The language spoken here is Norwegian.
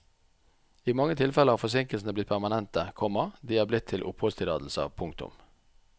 I mange tilfeller har forsinkelsene blitt permanente, komma de er blitt til oppholdstillatelser. punktum